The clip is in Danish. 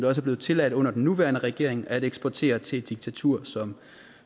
er blevet tilladt under den nuværende regering at eksportere til et diktatur som